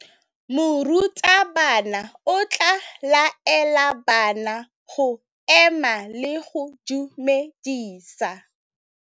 Morutabana o tla laela bana go ema le go go dumedisa.